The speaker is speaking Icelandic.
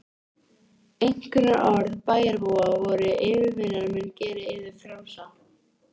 Einkunnarorð bæjarbúa voru: yfirvinnan mun gera yður frjálsa.